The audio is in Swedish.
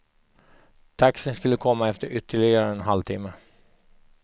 Taxin skulle komma efter ytterligare en halvtimme.